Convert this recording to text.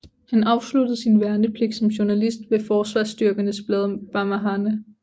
Han afsluttede sin værnepligt som journalist ved Forsvarsstyrkernes blad BaMahane